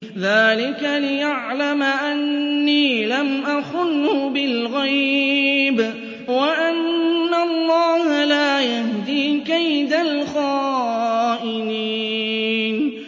ذَٰلِكَ لِيَعْلَمَ أَنِّي لَمْ أَخُنْهُ بِالْغَيْبِ وَأَنَّ اللَّهَ لَا يَهْدِي كَيْدَ الْخَائِنِينَ